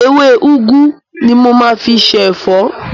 Ewé úgú ni mo máa fi se ẹ̀fọ́.